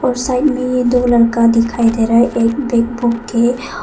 और साइड में ये दो लड़का दिखाई दे रहा है। एक के--